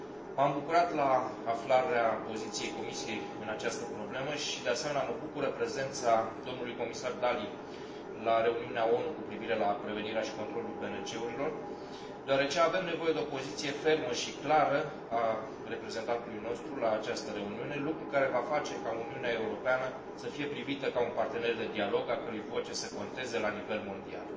M am bucurat la aflarea poziției Comisiei în această problemă și, de asemenea, mă bucură prezența domnului comisar Dalli la reuniunea ONU cu privire la prevenirea și controlul BNT urilor, deoarece avem nevoie de o poziție fermă și clară a reprezentantului nostru la această reuniune, lucru care va face ca Uniunea Europeană să fie privită ca un partener de dialog, a cărui voce să conteze la nivel mondial.